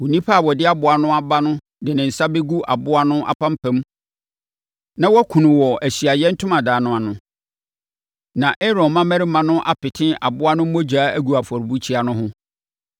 Onipa a ɔde aboa no aba no de ne nsa bɛgu aboa no apampam na wakum no wɔ Ahyiaeɛ Ntomadan no ano. Na Aaron mmammarima no apete aboa no mogya agu afɔrebukyia no ho,